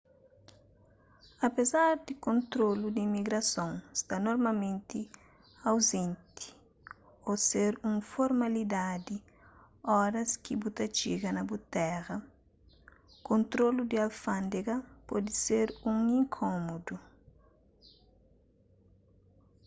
apezar di kontrolu di imigrason sta normalmenti auzenti ô ser un formalidadi óras ki bu ta txiga na bu téra kontrolu di alfándega pode ser un inkómodu